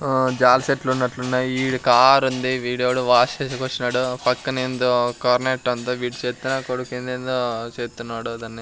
జలిశెట్లు ఉన్నట్లున్నాయ్ ఈడ కార్ ఉంది వీడెవడో వాష్ చేసేకి వచ్చినాడు పక్కనేందో కార్నెట్ అంతా వీడు చెత్త నా కొడుకు ఎందెందో చేస్తున్నాడు దాన్ని.